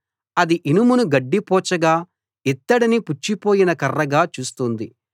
అది ఇనుమును గడ్డిపోచగా ఇత్తడిని పుచ్చిపోయిన కర్రగా చూస్తుంది